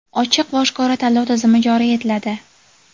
ochiq va oshkora tanlov tizimi joriy etiladi.